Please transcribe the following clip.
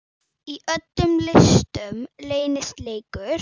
Í öllum listum leynist leikur.